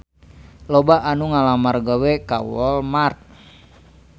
Loba anu ngalamar gawe ka Walmart